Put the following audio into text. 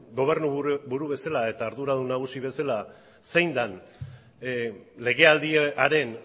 gobernuburu bezela eta arduradun nagusi bezela zein dan legealdiaren